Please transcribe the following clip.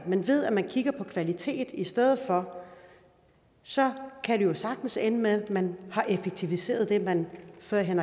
man ved at man kigger på kvalitet i stedet for og så kan det jo sagtens ende med at man har effektiviseret det man førhen